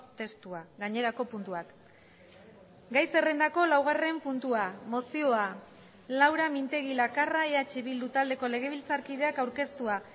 testua gainerako puntuak gai zerrendako laugarren puntua mozioa laura mintegi lakarra eh bildu taldeko legebiltzarkideak aurkeztua